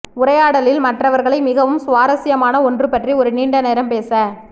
உரையாடலில் மற்றவர்களை மிகவும் சுவாரஸ்யமான ஒன்று பற்றி ஒரு நீண்ட நேரம் பேச